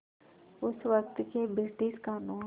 उस वक़्त के ब्रिटिश क़ानून